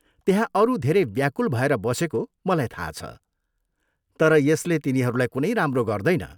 त्यहाँ अरू धेरै व्याकुल भएर बसेको मलाई थाहा छ, तर यसले तिनीहरूलाई कुनै राम्रो गर्दैन।